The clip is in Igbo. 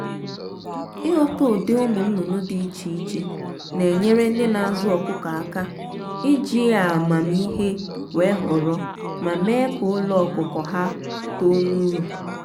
ịghọta ụdị ụmụ nnụnụ dị iche iche na-enyere ndị na azụ ọkụkọ aka iji a amamiihe wee họrọ ma mee ka ụlọ ọkụkụ ha too n'uru